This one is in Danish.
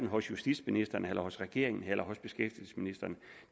hos justitsministeren eller hos regeringen eller hos beskæftigelsesministeren